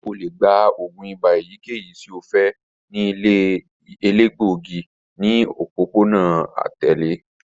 O le gba oògùn ibà eyikeyi ti o fẹ ni ile elegbogi ni opopona atẹle